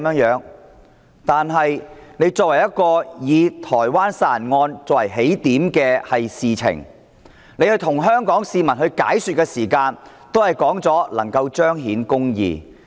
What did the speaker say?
以台灣殺人案作為起點提出修例，而局長跟香港市民解說的時候也表示，這樣做能夠彰顯公義。